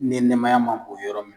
Ni nɛmaya man bon yɔrɔ min.